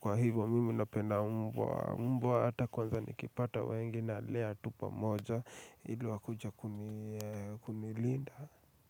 Kwa hivyo mimi napenda mbwa, mbwa hata kwanza nikipata wengi nalea tu pamoja ili wakuje kunilinda.